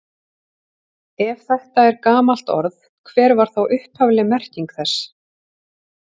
Ef þetta er gamalt orð, hver var þá upphafleg merking þess?